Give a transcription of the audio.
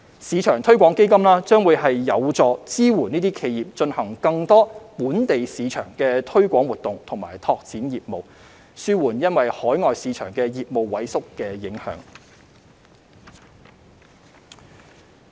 市場推廣基金將有助支援企業進行更多"本地市場"的推廣活動和拓展業務，紓緩因海外市場的業務萎縮的影響。